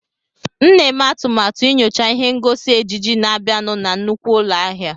M na-eme atụmatụ inyocha ihe ngosi ejiji na-abịanụ na nnukwu ụlọ ahịa.